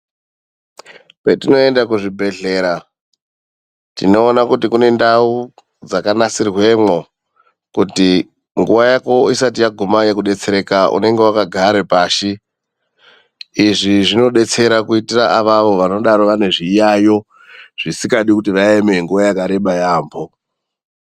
Kwetinoenda kuzvibhedhlera tinoona kuti kune ndau dzakanasirwemwo kuti nguva Yako isati yaguma yekudetsereka unenge wakagara pashi izvi zvinodetsera kuitira avavo vanenge vane zviyayo zvisingadi vaeme nguva yakareba yambo .